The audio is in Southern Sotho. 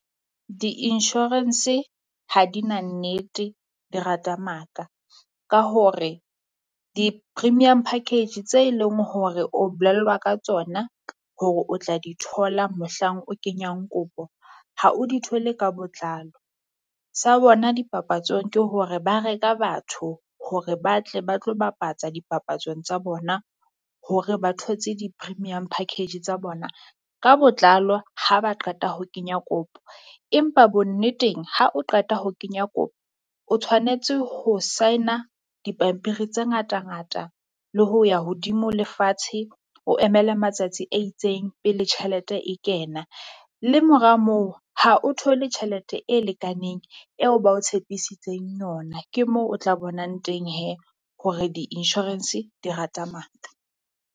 Di-insurance ha di na nnete di rata maka ka hore, di-premium package tse e leng hore o bolellwa ka tsona hore o tla di thola mohlang o kenyang kopo ha o di thole ka botlalo. Sa bona dipapatsong ke hore ba reka batho hore ba tle ba tlo bapatsa dipapatsong tsa bona hore ba thotse di-premium package tsa bona ka botlalo ha ba qeta ho kenya kopo. Empa Bonneteng ha o qeta ho kenya kopo, o tshwanetse ho sign-a dipampiri tse ngata-ngata le ho ya hodimo le fatshe, o emele matsatsi a itseng pele tjhelete e kena. Le mora moo ha o thole tjhelete e lekaneng eo ba o tshepisitseng yona ke moo o tla bonang teng hee hore di-insurance di rata maka.